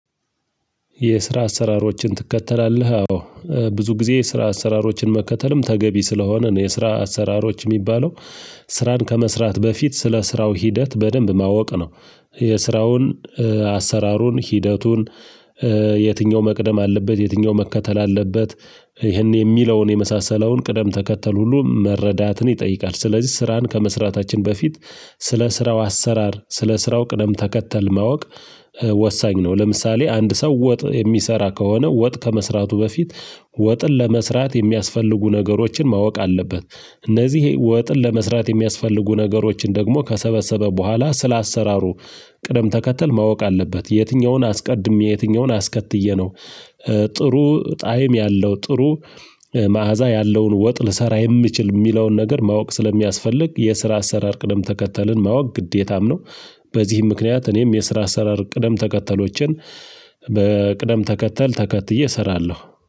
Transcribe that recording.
የስራ አሰራሮችን ትከተላለህ አዎ ብዙ ጊዜ የስራ አሰራሮችን መከተልም ተገቢ ስለሆነ ነው የስራ አሰራሮች የሚባለው። ስራን ከመስራት በፊት ስለ ስራው ሂደት በደንብ ማወቅ ነው። የስራውን አሰራሩን ሂደቱን የትኛው መቅደም አለበት የትኛው መከተል አለበት። ይሄን የሚለውን የመሳሰለውን ቅደም ተከተል ሁሉ መረዳትን ይጠይቃል። ስለዚህ ስራን ከመስራታችን በፊት ስለ ስራው አሰራር ስለ ስራው ቅደም ተከተል ማወቅ ወሳኝ ነው። ለምሳሌ አንድ ሰው ወጥ የሚሰራ ከሆነ ወጥ ከመስራቱ በፊት ወጥን ለመስራት የሚያስፈልጉ ነገሮችን ማወቅ አለበት። እነዚህ ወጥን ለመስራት የሚያስፈልጉ ነገሮችን ደግሞ ከሰበሰበ በኋላ ስለ አሰራሩ ቅደም ተከተል ማወቅ አለበት። የትኛውን አስቀድሜ የትኛውን አስከትዬ ነው? ጥሩ ጣዕም ያለው ጥሩ መዓዛ ያለውን ወጥ ልሰራ የምችል የሚለውን ነገር ማወቅ ስለሚያስፈልግ የስራ አሰራር ቅደም ተከተልን ማወቅ ግዴታም ነው። በዚህም ምክንያት እኔም የስራ አሰራር ቅደም ተከተሎችን በቅደም ተከተል ተከትዬ እሰራለሁ